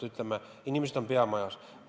Omal ajal oli seletus olemas.